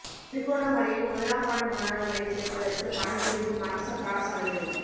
திருகோணமலையில் முதலாம் ஆண்டு மாணவர்களை சேர்ப்பதற்கு பணம் பிடுங்கும் அரச பாடசாலைகள்